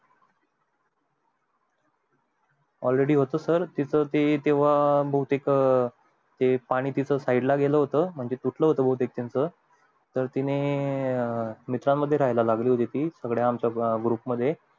all ready sir तीच ते तेव्हा बहुतेक ते पाणी side ला गेलं होत म्हणजे तुटलं होत बहुतेक त्याचं तर तिने मित्रानं मध्ये राहायला लागली होती सगळ्या आमच्या group मध्ये